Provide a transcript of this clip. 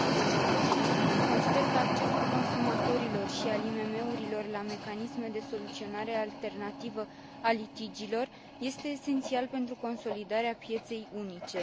2020. Consider că accesul consumatorilor și al IMM urilor la mecanisme de soluționare alternativă a litigiilor este esențial pentru consolidarea pieței unice.